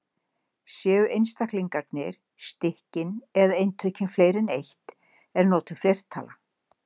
Séu einstaklingarnir, stykkin eða eintökin fleiri en eitt er notuð fleirtala.